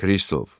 Kristof!